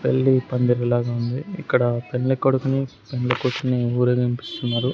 పెళ్లి పందిరి లాగ ఉంది ఇక్కడ పెండ్లి కొడుకుని పెండ్లి కూతురుని ఊరేగింపు ఇస్తున్నారు.